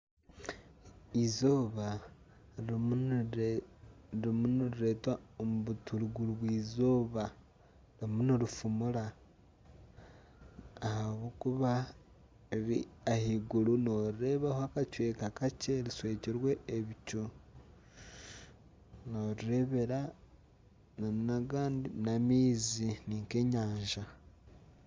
Eizooba rirmu nirireetwa ririmu nirireetwa omu buturukirwa eizooba rirumu nirifumura ahabw'okuba ahaiguru noorireebaho akacweka kakye rishwekirwe ebicu. Norireebera nana agandi n'amaizi ni nk'enyanja.